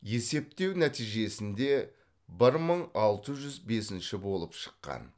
есептеу нәтижесінде бір мың алты жүз бесінші болып шыққан